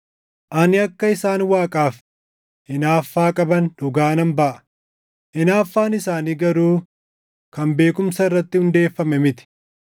Ani akka isaan Waaqaaf hinaaffaa qaban dhugaa nan baʼa; hinaaffaan isaanii garuu kan beekumsa irratti hundeeffame miti.